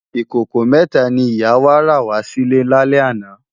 Ikókó mètá ni ìyá wá rá wà silè lálè àná